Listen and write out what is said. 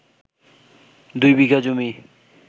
দুই বিঘা জমি